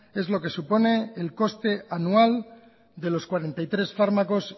es lo que supone el coste anual de los cuarenta y tres fármacos